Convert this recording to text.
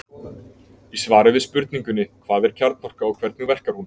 Í svari sínu við spurningunni Hvað er kjarnorka og hvernig verkar hún?